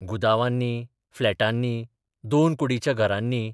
गुदावांनी, फ्लॅटांनी, दोन कुर्डीच्या घरांनी.